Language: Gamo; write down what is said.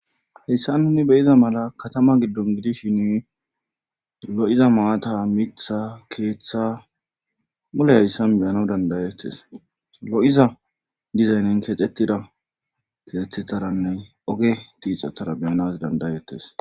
heyssa nuni beyiza mala katama giddon gidishin lo7iza maata mikisa keeththa mule hayssan meyana dandayettes lo7iza dizaynin kexetida keethetaranne oge tiixatara beyanas dandayettes